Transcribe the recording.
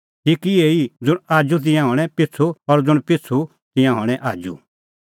ठीक इहै ई ज़ुंण आजू तै तिंयां हणैं पिछ़ू और ज़ुंण पिछ़ू तै तिंयां हणैं आजू